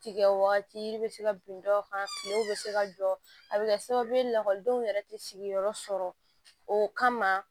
Tigɛ wagati yiri bɛ se ka bin dɔw kan kilew bɛ se ka jɔ a bɛ kɛ sababu ye lakɔlidenw yɛrɛ tɛ sigiyɔrɔ sɔrɔ o kama